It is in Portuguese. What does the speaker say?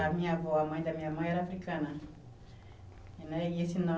A minha avó, a mãe da minha mãe era africana. E né e esse